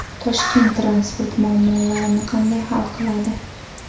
Toshkent transport muammolarini qanday hal qiladi?.